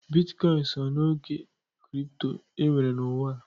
Bitkọịn so n'ego kripto e nwere n'ụwa.